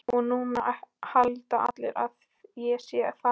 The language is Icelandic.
Og núna halda allir að ég sé þaðan.